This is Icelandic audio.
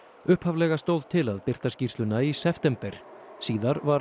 upphaflega stóð til að birta skýrsluna í september síðar var